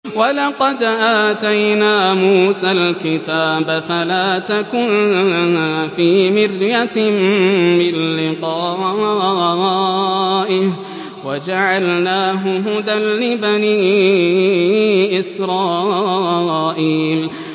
وَلَقَدْ آتَيْنَا مُوسَى الْكِتَابَ فَلَا تَكُن فِي مِرْيَةٍ مِّن لِّقَائِهِ ۖ وَجَعَلْنَاهُ هُدًى لِّبَنِي إِسْرَائِيلَ